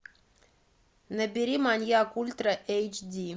набери маньяк ультра эйч ди